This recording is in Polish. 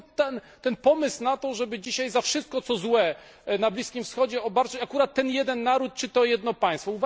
Skąd pomysł na to, żeby dzisiaj wszystkim co złe na Bliskim Wschodzie obarczać akurat ten jeden naród czy to jedno państwo.